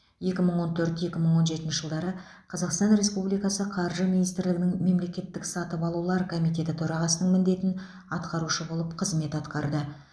екі мың он төрт екі мың он жетінші жылдары қазақстан республикасы қаржы министрлігінің мемлекеттік сатып алулар комитеті төрағасының міндетін атқарушы болып қызмет атқарды